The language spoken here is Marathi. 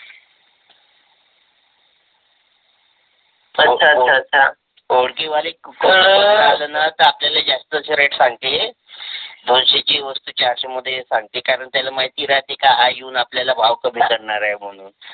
ओळखीवाले आण त आपल्याले जास्तच रेट सांगते. दोनशे ची वस्तू चारसे ची सांगते कारण त्याले माहिती राहते का हा येऊन आपल्याला भाव कमी करणार आहे मानून.